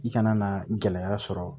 I kana na gɛlɛya sɔrɔ